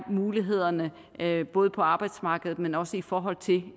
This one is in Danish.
muligheder man har både på arbejdsmarkedet men også i forhold til